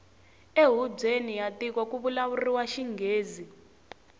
e hubyeni ya tiko kuvulavuriwa xingghezi